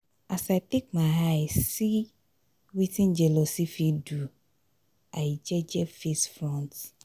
as i take my eye see wetin jealousy fit do i do i jeje face front.